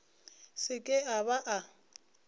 se ke a ba a